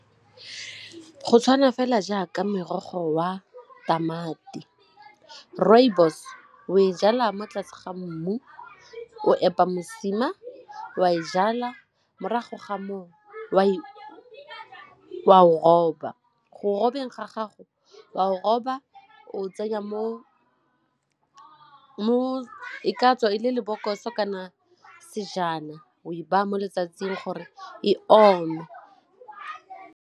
Go tshwana fela jaaka morogo wa tamati, rooibos o e jala mo tlase ga mmu, o epa mosima wa e jalwa morago ga moo wa e wa o roba go robeng gago wa o roba o tsenya mo mo ka tswa e le lebokosong kana sejana o e baya mo letsatsing gore e ome.